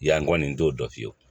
Yan kɔni n t'o dɔn fiyewu